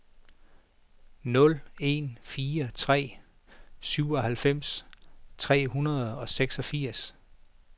nul en fire tre syvoghalvfems tre hundrede og seksogfirs